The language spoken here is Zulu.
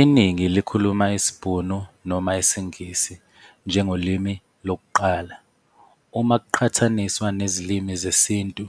Iningi likhuluma isiBhunu noma isiNgisi njengolimi lokuqala, uma kuqhathaniswa nezilimi zesiNtu